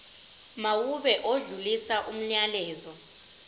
mawube odlulisa umyalezo